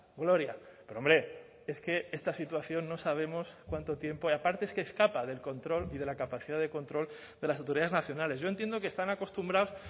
gloria pero hombre es que esta situación no sabemos cuánto tiempo y aparte es que escapa del control y de la capacidad de control de las autoridades nacionales yo entiendo que están acostumbrados